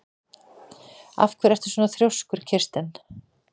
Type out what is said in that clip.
Af hverju ertu svona þrjóskur, Kirsten?